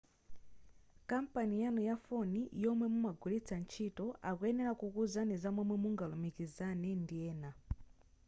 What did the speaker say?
kampani yanu ya foni yomwe mumagwilitsa ntchito akuyenera kukuuzani zamomwe mungalumikizilane ndi ena